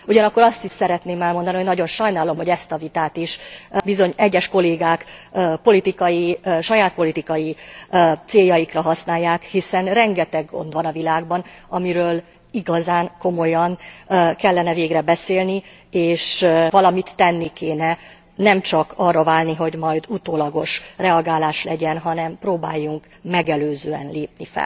Ugyanakkor azt is szeretném elmondani, hogy nagyon sajnálom, hogy ezt a vitát is bizony egyes kollégák politikai, saját politikai céljaikra használják, hiszen rengeteg gond van a világban, amiről igazán komolyan kellene végre beszélni és valamit tenni kéne, nemcsak arra várni, hogy majd utólagos reagálás legyen, hanem próbáljunk megelőzően fellépni.